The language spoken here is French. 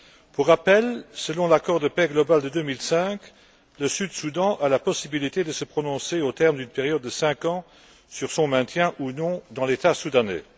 Pour rappel, selon l'accord de paix global de 2005, le Sud Soudan a la possibilité de se prononcer au terme d'une période de cinq ans sur son maintien ou non dans l'État soudanais.